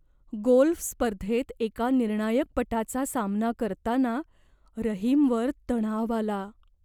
Golf स्पर्धेत एका निर्णायक पटाचा सामना करताना रहीमवर तणाव आला.